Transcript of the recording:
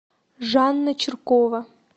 жанна чиркова